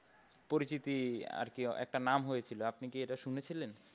পরিচিতি আর কি একটা নাম হয়েছিল আপনি কি এটা শুনেছিলেন?